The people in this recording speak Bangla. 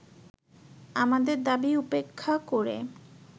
আমাদের দাবী উপেক্ষা করে